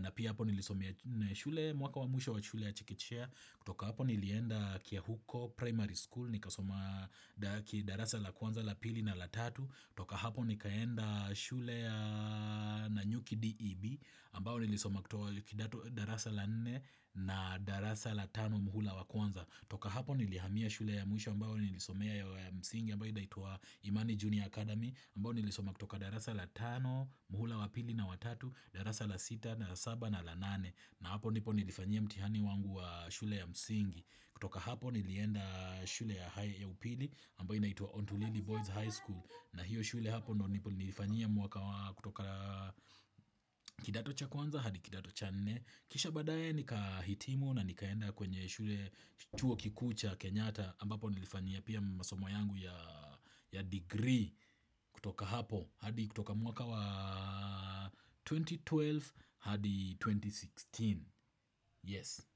Na pia hapo nilisomea shule mwaka wamusho wa shule ya Chekechea. Toka hapo nilienda kiahuko primary school nikasoma kidarasa la kwanza la pili na la tatu. Toka hapo nikaenda shule ya Nanyuki DEB ambao nilisoma kutoa kidato darasa la nne na darasa la tano muhula wa kwanza. Toka hapo nilihamia shule ya mwisho ambapo nilisomea ya msingi ambayo inaitwa imani junior Academy ambayo nilisoma kutoka darasa la tano, muhula wa pili na wa tatu, darasa la sita na la saba na la nane. Na hapo nipo nilifanyia mtihani wangu wa shule ya msingi. Kutoka hapo nilienda shule ya upili ambayo inaitwa Ontulili Boys high School. Na hiyo shule hapo ndipo nilifanyia mwaka kutoka kidato cha kwanza hadi kidato cha nne. Kisha baadaye nikahitimu na nikaenda kwenye shule chuo kikuu cha Kenyata ambapo nilifanyia pia masomo yangu ya degree kutoka hapo hadi kutoka mwaka wa 2012 hadi 2016 Yes.